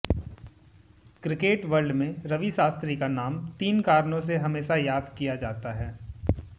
cricket world में रवि शास्त्री का नाम तीन कारणों से हमेशा याद किया जाता है